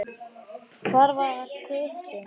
Hvar var Hvutti?